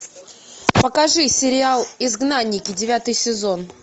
покажи сериал изгнанники девятый сезон